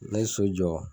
Ne ye so jɔ